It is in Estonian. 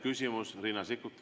Küsimus, Riina Sikkut.